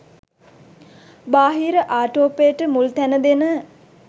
බාහිර ආටෝපයට මුල් තැන දෙන